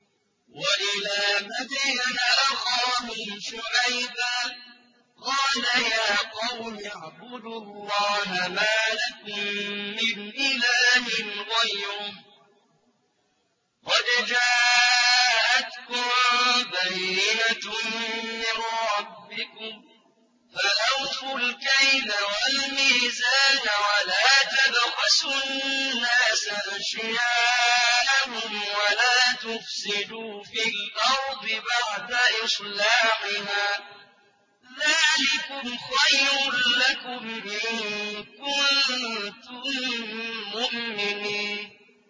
وَإِلَىٰ مَدْيَنَ أَخَاهُمْ شُعَيْبًا ۗ قَالَ يَا قَوْمِ اعْبُدُوا اللَّهَ مَا لَكُم مِّنْ إِلَٰهٍ غَيْرُهُ ۖ قَدْ جَاءَتْكُم بَيِّنَةٌ مِّن رَّبِّكُمْ ۖ فَأَوْفُوا الْكَيْلَ وَالْمِيزَانَ وَلَا تَبْخَسُوا النَّاسَ أَشْيَاءَهُمْ وَلَا تُفْسِدُوا فِي الْأَرْضِ بَعْدَ إِصْلَاحِهَا ۚ ذَٰلِكُمْ خَيْرٌ لَّكُمْ إِن كُنتُم مُّؤْمِنِينَ